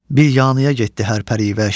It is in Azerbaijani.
Bir yanıya getdi hər pərivəş.